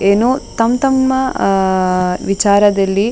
ಏನೋ ತಮ್ ತಮ್ಮ ಅಹ್ ಅಹ್ ವಿಚಾರದಲ್ಲಿ --